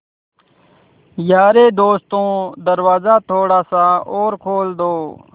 यारे दोस्तों दरवाज़ा थोड़ा सा और खोल दो